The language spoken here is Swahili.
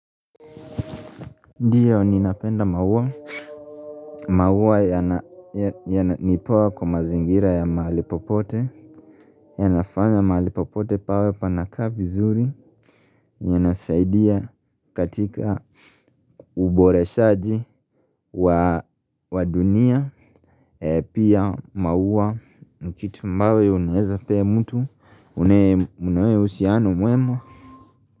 Ndiyo ninapenda maua maua yana ni poa kwa mazingira ya mahali popote yanafanya mahali popote pawe panakaa vizuri yanasaidia katika uboreshaji wa dunia Pia maua ni kitu ambayo unaeza pea mtu, unaye mna uhusiano mwema.